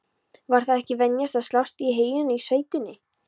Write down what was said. Var það ekki venja að slást í heyinu í sveitinni?